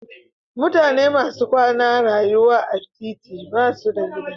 Mutane masu kwana rayuwa a titi basu da gida.